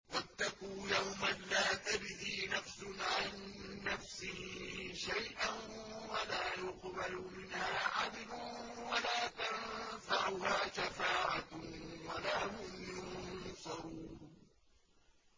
وَاتَّقُوا يَوْمًا لَّا تَجْزِي نَفْسٌ عَن نَّفْسٍ شَيْئًا وَلَا يُقْبَلُ مِنْهَا عَدْلٌ وَلَا تَنفَعُهَا شَفَاعَةٌ وَلَا هُمْ يُنصَرُونَ